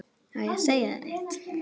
Á ég að segja þér eitt?